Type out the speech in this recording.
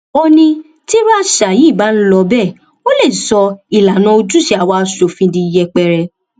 ó ní tírú àṣà yìí bá ń lọ bẹẹ ó lè sọ ìlànà ojúṣe àwa asòfin di yẹpẹrẹ